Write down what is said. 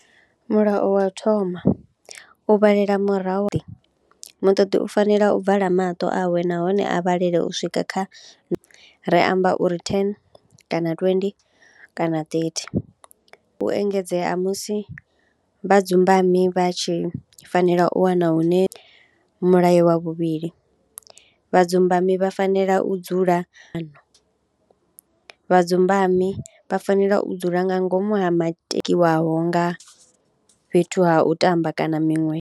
Mulayo wa thoma, u vhalela murahu muṱoḓi u fanela u vala maṱo awe nahone a vhalele u swika kha re amba uri thene kana twendi kana ṱethi. u engedzea musi vhadzumbami vha tshi fanela u wana hune, mulayo wa vhuvhili vhadzumbami vha fanela u dzula kana vhadzumbami vha fanela u dzula nga ngomu ha maketiwaho nga fhethu ha u tamba kana miṅwe.